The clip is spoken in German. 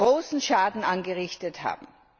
großen Schaden angerichtet haben.